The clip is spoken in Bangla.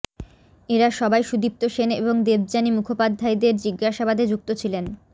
এঁরা সবাই সুদীপ্ত সেন এবং দেবযানী মুখোপাধ্যায়দের জিজ্ঞাসাবাদে যুক্ত ছিলেন